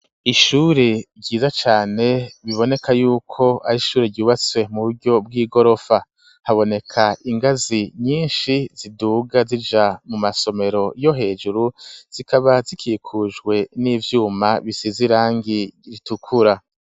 Ishuri ryiza cane biboneka yuko ari ishuri ryubatse mu buryo bw'igorofa haboneka ingazi nyishi ziduga zija mu masomero yo hejuru zikaba zikikujwe n'ivyuma bisize irangi ritukura.